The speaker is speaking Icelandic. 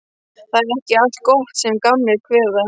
Það er ekki allt gott sem gamlir kveða.